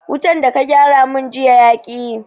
Wutan da ka gyara mun jiya yaƙi yi